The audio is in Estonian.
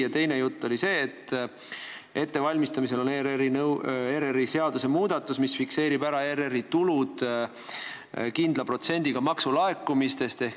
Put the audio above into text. Ja teine jutt oli see, et ettevalmistamisel on ERR-i seaduse muudatus, millega fikseeritakse ERR-i tuludeks kindel protsent maksulaekumistest.